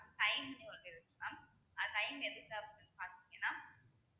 mam பாத்தீங்கன்னா